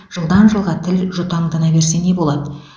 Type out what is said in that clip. жылдан жылға тіл жұтаңдана берсе не болады